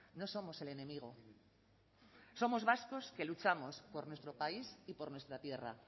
no somos el enemigo somos vascos que luchamos por nuestro país y por nuestra tierra